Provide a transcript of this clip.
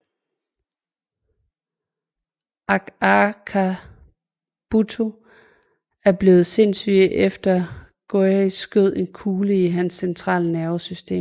Akakabuto er blevet sindssyg efter at Gohei skød en kugle i hans centrale nervesystem